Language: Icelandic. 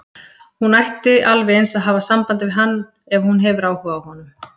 Hún ætti alveg eins að hafa samband við hann ef hún hefur áhuga á honum.